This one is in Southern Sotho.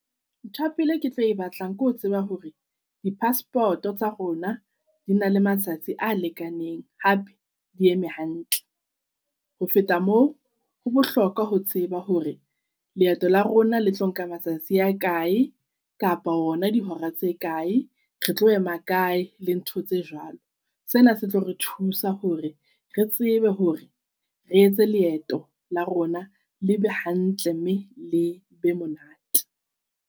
Ntho ya pele ke tlo e batlang ke ho tseba hore di-passport-o tsa rona di na le matsatsi a lekaneng hape di eme hantle. Ho feta moo ho bohlokwa ho tseba hore leeto la rona le tlo nka matsatsi a kae kapa ona dihora tse kae. Re tlo ema kae le ntho tse jwalo. Sena se tlo re thusa hore re tsebe hore re etse leeto la rona le be hantle mme le be monate.